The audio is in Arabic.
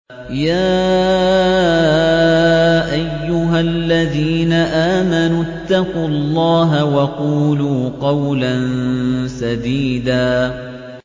يَا أَيُّهَا الَّذِينَ آمَنُوا اتَّقُوا اللَّهَ وَقُولُوا قَوْلًا سَدِيدًا